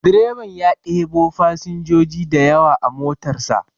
Direban ya ɗebo fasinjoji dayawa a motar sa.